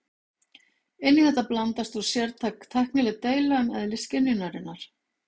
Inn í þetta blandast svo sértæk tæknileg deila um eðli skynjunarinnar.